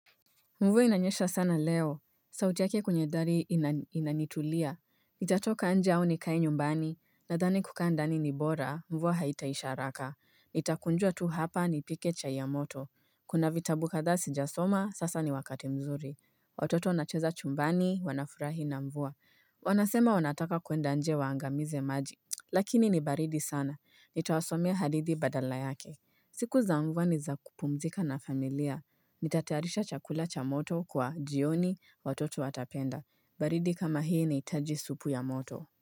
Mvua inanyesha sana leo. Sauti yake kwenye dhali inanitulia. Nitatoka nje au nikae nyumbani. Nadhani kukaa ndani ni bora, mvua haitaisha haraka. Nitakunjua tu hapa, nipike chai ya moto. Kuna vitabu kadha sijasoma, sasa ni wakati mzuri. Watoto wanacheza chumbani, wanafurahi na mvua. Wanasema wanataka kuenda nje waangamize maji. Lakini ni baridi sana. Nitawasomea hadithi badala yake. Siku za mvua ni za kupumzika na familia. Nitatayarisha chakula cha moto kwa jioni, watoto watapenda baridi kama hii inahitaji supu ya moto.